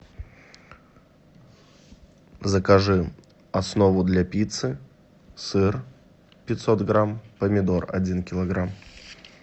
закажи основу для пиццы сыр пятьсот грамм помидор один килограмм